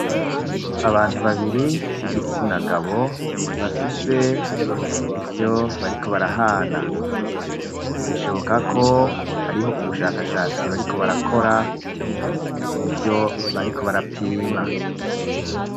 Abantu babiri b'igitsina gabo bafise ivyo bariko barahana, bishoboka ko hariho ubushakashatsi bariko barakora mu vyo bariko barapima.